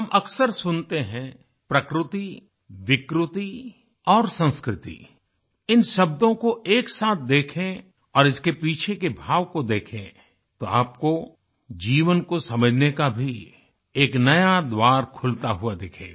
हम अक्सर सुनते हैं प्रकृति विकृति और संस्कृति इन शब्दों को एक साथ देखें और इसके पीछे के भाव को देखें तो आपको जीवन को समझने का भी एक नया द्वार खुलता हुआ दिखेगा